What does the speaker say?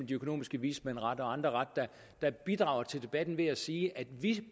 de økonomiske vismænd og andre ret der bidrager til debatten ved at sige at vi